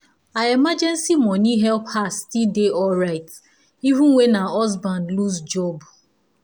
her emergency money help her still dey alright even when her husband lose job.